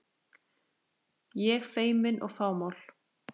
Ég feimin og fámál.